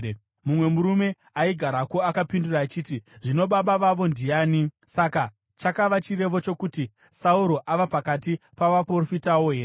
Mumwe murume aigarako akapindura achiti, “Zvino baba vavo ndiani?” Saka chakava chirevo chokuti, “Sauro ava pakati pavaprofitawo here?”